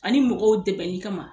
Ani mɔgɔw dɛmɛli kama.